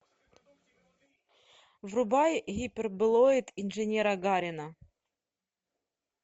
врубай гиперболоид инженера гарина